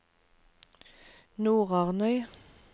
Nordarnøy